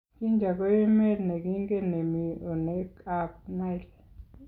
Jinja ko emet ne kingen ne mii oinekab Nile.